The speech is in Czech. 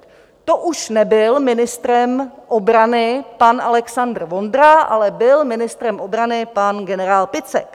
To už nebyl ministrem obrany pan Alexandr Vondra, ale byl ministrem obrany pan generál Picek.